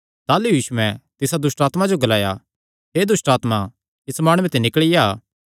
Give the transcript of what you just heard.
ताह़लू यीशुयैं तिसा दुष्टआत्मा जो ग्लाया हे दुष्टआत्मा इस माणुये ते निकल़ी आ